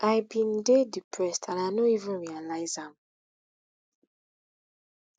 i bin dey depressed and i no even realise am